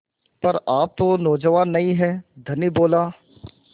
पर आप तो नौजवान नहीं हैं धनी बोला